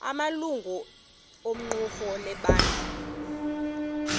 amalungu equmrhu lebandla